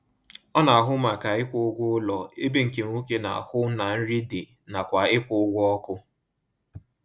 Ọ na ahụ maka ịkwụ ụgwọ ụlọ ebe nke nwoke na-ahụ na nri dị nakwa ịkwụ ụgwọ ọkụ